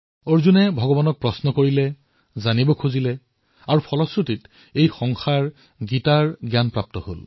অৰ্জুনে ভগৱানক প্ৰশ্ন কৰিলে কৌতুহল সুধিলে তেতিয়াহে গীতাৰ জ্ঞান সংসাৰে লাভ কৰিলে